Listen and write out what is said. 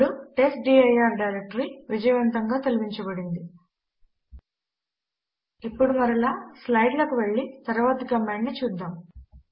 ఇప్పుడు test dir directory విజయవంతముగా తొలగించబడింది ఇప్పుడు మరలా స్లైడ్ లకు వెళ్లి తరువాతి కమాండ్ ను చూద్దాము